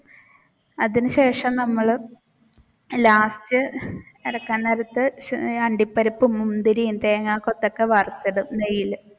അതിനു ശേഷം നമ്മൾ last ഇറക്കാൻ നേരത്തു അണ്ടിപ്പരിപ്പ്, മുന്തിരിയും, തേങ്ങാകൊത്തൊക്കെ വറുത്തു ഇടും നെയ്യിൽ